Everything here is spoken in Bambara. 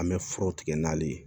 An bɛ furaw tigɛ n'ali ye